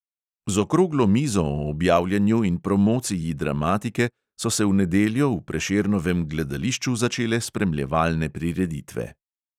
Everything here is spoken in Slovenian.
Z okroglo mizo o objavljanju in promociji dramatike so se v nedeljo v prešernovem gledališču začele spremljevalne prireditve.